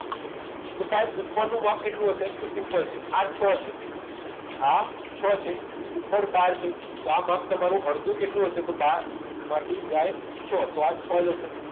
તો સાહેબ ઉપરનું માપ કેટલું હશે તો simple છે આ છ છે આ છ છે ઉપર બાર છે તો આ માપ તમારું અડધું કેટલું હશે તો બાર માંથી જાય છ તો આ છ જશે